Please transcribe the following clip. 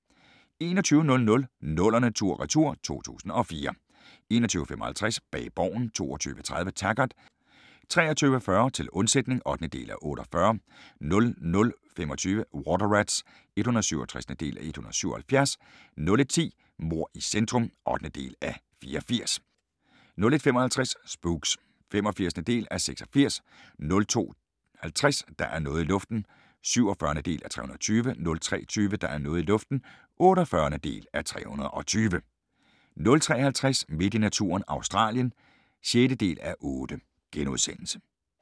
21:00: 00'erne tur/retur: 2004 21:55: Bag Borgen 22:30: Taggart 23:40: Til undsætning (8:48) 00:25: Water Rats (167:177) 01:10: Mord i centrum (8:84) 01:55: Spooks (85:86) 02:50: Der er noget i luften (47:320) 03:20: Der er noget i luften (48:320) 03:50: Midt i naturen – Australien (6:8)*